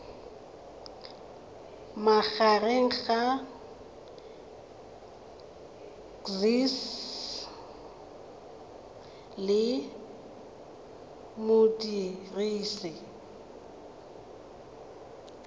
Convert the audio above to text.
magareng ga gcis le modirisi